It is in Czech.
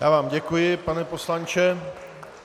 Já vám děkuji, pane poslanče.